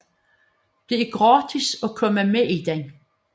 Det er gratis at komme med i den